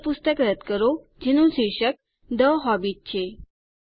એ પુસ્તક રદ્દ કરો જેનું શીર્ષક થે હોબિટ છે